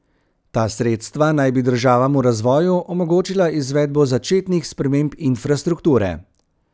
Ta sredstva naj bi državam v razvoju omogočila izvedbo začetnih sprememb infrastrukture.